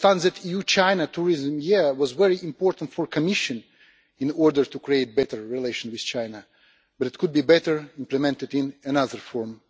I understand that the EU-China Tourism Year is very important for the Commission in order to create better relations with China, but it could be better implemented in another form.